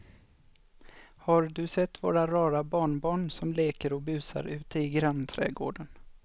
Har du sett våra rara barnbarn som leker och busar ute i grannträdgården!